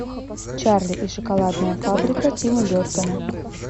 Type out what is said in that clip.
чарли и шоколадная фабрика тима бертона